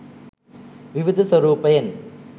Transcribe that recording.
විවිධ ස්වරූපයෙන්